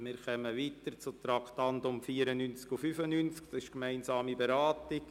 Wir kommen zu den Traktanden 94 und 95, die wir gemeinsam beraten.